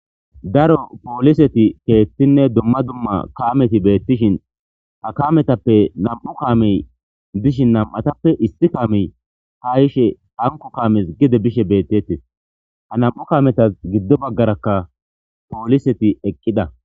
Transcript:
daro pooliseti keethtinne dumma dumma kameti beettishin ha kametappe nam7u kaamey bishin nam7atappe issi kaamey ha ishe hanko kaames gide bishe beettettes ha nam7u kaametas giddo baggarakka pooliseti eqqida